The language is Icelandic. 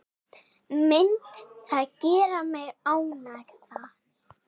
Myndi það gera mig ánægðan?